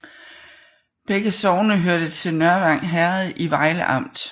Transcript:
Begge sogne hørte til Nørvang Herred i Vejle Amt